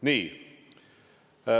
Nii ...